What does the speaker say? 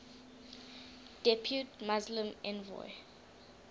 depute muslim envoy